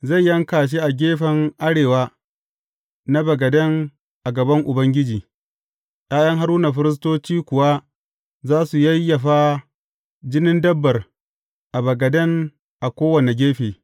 Zai yanka shi a gefen arewa na bagaden a gaban Ubangiji, ’ya’yan Haruna firistoci kuwa za su yayyafa jinin dabbar a bagaden a kowane gefe.